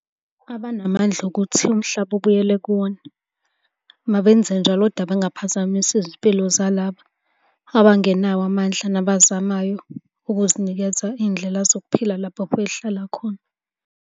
Abanamandla okuthi umhlaba ubuyele kuwona, mabenze njalo, kodwa bengaphazamisi izimpilo zalaba abangenawo amandla nabazamayo ukuzinikeza iy'ndlela zokuphila lapho behlala khona.